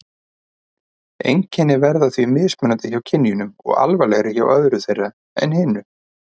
Einkennin verða því mismunandi hjá kynjunum og alvarlegri hjá öðru þeirra en hinu.